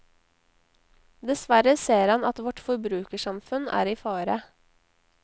Dessverre ser han at vårt forbrukersamfunn er i fare.